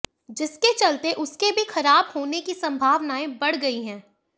जिसके चलते उसके भी खराब होने की संभावनाएं बढ़ गईं हैं